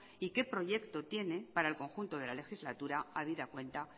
y qué proyecto tiene para el conjunto de la legislatura habida cuenta